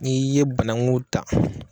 I ye banaku dan.